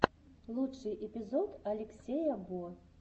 лучший эпизод алексея бо